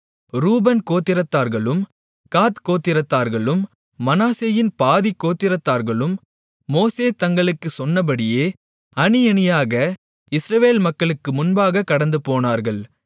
ரூபன் கோத்திரத்தார்களும் காத் கோத்திரத்தார்களும் மனாசேயின் பாதிக் கோத்திரத்தார்களும் மோசே தங்களுக்குச் சொன்னபடியே அணியணியாக இஸ்ரவேல் மக்களுக்கு முன்பாகக் கடந்துபோனார்கள்